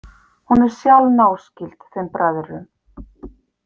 Hún er sjálf náskyld þeim bræðrum.